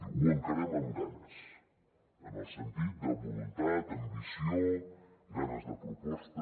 diu ho encarem amb ganes en el sentit de voluntat ambició ganes de proposta